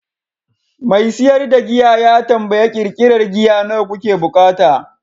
mai siyar da giya ya tambayi ƙirƙirar giya nawa kuke buƙata?